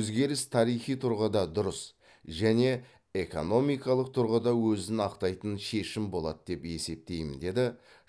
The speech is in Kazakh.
өзгеріс тарихи тұрғыда дұрыс және экономикалық тұрғыда өзін ақтайтын шешім болады деп есептеймін деді